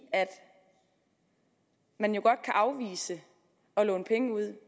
at man jo godt kan afvise at låne penge ud